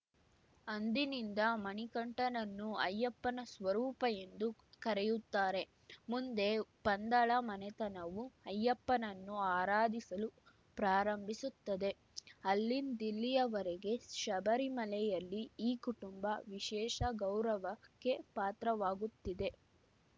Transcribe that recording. ಅಂದಿನಿಂದ ಮಣಿಕಂಠನನ್ನು ಅಯ್ಯಪ್ಪನ ಸ್ವರೂಪ ಎಂದು ಕರೆಯುತ್ತಾರೆ ಮುಂದೆ ಪಂದಳ ಮನೆತನವು ಅಯ್ಯಪ್ಪನನ್ನು ಆರಾಧಿಸಲು ಪ್ರಾರಂಭಿಸುತ್ತದೆ ಅಲ್ಲಿಂದಿಲ್ಲಿಯವರೆಗೆ ಶಬರಿಮಲೆಯಲ್ಲಿ ಈ ಕುಟುಂಬ ವಿಶೇಷ ಗೌರವಕ್ಕೆ ಪಾತ್ರವಾಗುತ್ತಿದೆ